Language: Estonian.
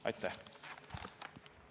Aitäh!